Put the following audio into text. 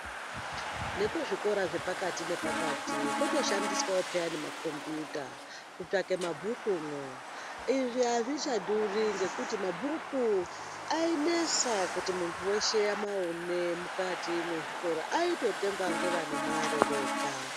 Nekuzvikora zvepakati nepakati kutoshandiswawo piyani makombiyutakutsvake mabhukumwo , izvii azvichadiwi ngokuti mabhuku ainesa kuti muntu weshe amaone mukati mwezvikora aingotengwa ngevane mare vega.